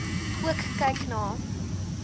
ook kyk na